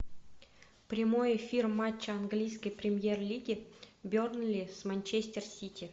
прямой эфир матча английской премьер лиги бернли с манчестер сити